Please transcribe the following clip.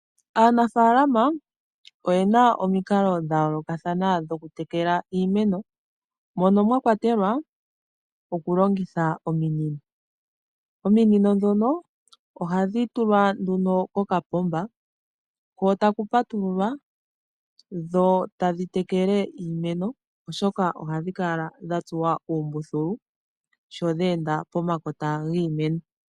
Aanafalama oyena omikalo dha yolokathana dho kutekela iimeno mono mwa kwatelwa okulongitha ominino. Ominino dhono ohadhi tulwa nduno kokapomba ko taku patululwa dho tadhi tekele iimeno oshoka ohadhi kala dha tsuwa oombuthulu sho dhee nda pomakota giimeno.